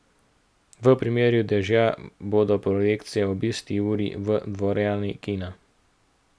V primeru dežja bodo projekcije ob isti uri v dvorani kina.